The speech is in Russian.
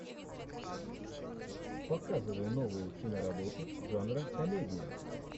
показывай новую киноработу жанра комедия